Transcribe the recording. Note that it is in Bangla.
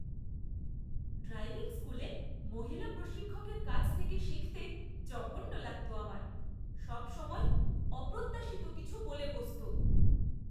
ড্রাইভিং স্কুলে মহিলা প্রশিক্ষকের কাছ থেকে শিখতে জঘন্য লাগত আমার। সবসময়ই অপ্রত্যাশিত কিছু বলে বসত।